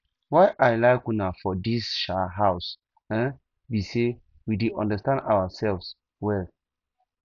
why i like una for dis um house um be say we dey understand ourselves very well